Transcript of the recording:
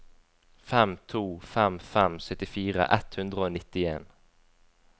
fem to fem fem syttifire ett hundre og nittien